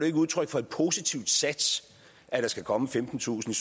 ikke udtryk for et positiv sats at der skal komme femtentusind